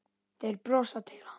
Þeir brosa til hans.